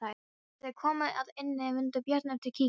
Þegar þeir komu að ánni mundi Björn eftir kíkinum.